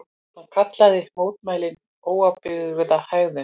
Hann kallaði mótmælin óábyrga hegðun